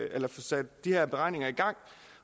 at få sat de her beregninger i gang